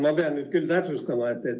Ma pean nüüd küll täpsustama.